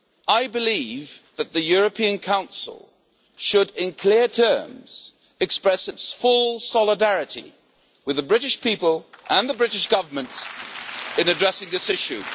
I believe that the European Council should, in clear terms, express its full solidarity with the British people and the British Government in addressing this issue.